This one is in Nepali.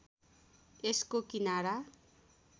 यसको किनारा